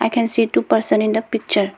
i can see two person in the picture.